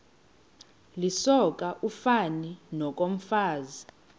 lisoka ufani nokomfazi